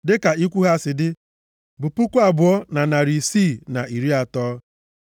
dịka ikwu ha si dị bụ puku abụọ na narị isii na iri atọ (2,630).